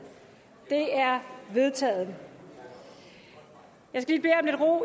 det er vedtaget jeg skal